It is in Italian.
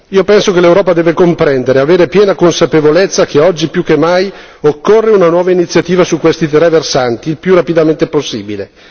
Io penso che l'Europa deve comprendere, avere piena consapevolezza che oggi più che mai occorre una nuova iniziativa su questi tre versanti il più rapidamente possibile.